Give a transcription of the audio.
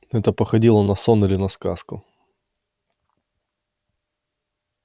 это походило на сон или на сказку